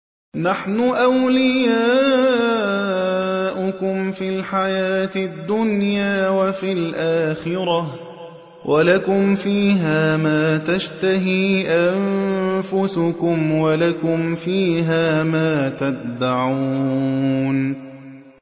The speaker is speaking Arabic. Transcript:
نَحْنُ أَوْلِيَاؤُكُمْ فِي الْحَيَاةِ الدُّنْيَا وَفِي الْآخِرَةِ ۖ وَلَكُمْ فِيهَا مَا تَشْتَهِي أَنفُسُكُمْ وَلَكُمْ فِيهَا مَا تَدَّعُونَ